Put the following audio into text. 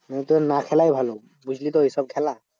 মানে তোর না খেলাই ভালো বুঝলি তো? ওইসব খেলা।